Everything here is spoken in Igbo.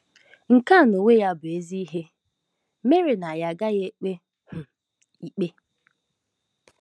Nke a n'onwe ya bụ ezi ihe mere na anyị agaghị ekpe um ikpe.